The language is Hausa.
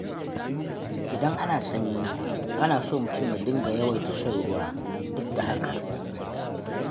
Idan ana sanyi, ana so mutum ya dinga yawaita shan ruwa, duk da haka.